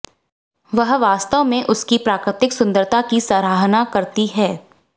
वह वास्तव में उसकी प्राकृतिक सुंदरता की सराहना करती है